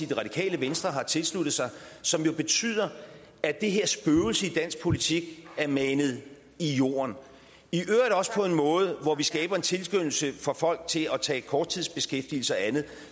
det radikale venstre har tilsluttet sig og som jo betyder at det her spøgelse i dansk politik er manet i jorden i øvrigt også på en måde hvor vi skaber en tilskyndelse for folk til at tage korttidsbeskæftigelse og andet